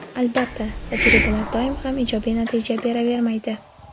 Albatta, tajribalar doim ham ijobiy natija beravermaydi.